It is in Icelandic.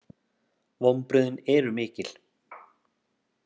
Vonbrigðin eru mikil